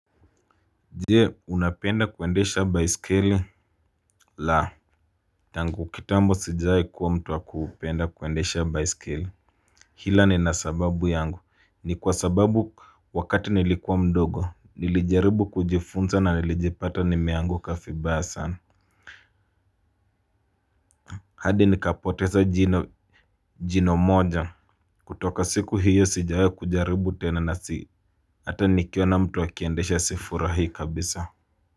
Je unapenda kuendesha baiskeli? La tangu kitambo sijawai kuwa mtu wa kupenda kuendesha baiskeli. Ila nina sababu yangu ni kwa sababu wakati nilikuwa mdogo nilijaribu kujifunza na nilijipata nimeanguka vibaya sana. Hadi nikapoteza jino moja. Kutoka siku hiyo sijawai kujaribu tena na si hata nikiona mtu akiendesha sifurahii kabisa. Kwa hivyo.